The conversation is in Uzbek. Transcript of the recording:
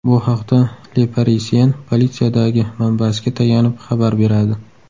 Bu haqda Le Parisien politsiyadagi manbasiga tayanib xabar beradi .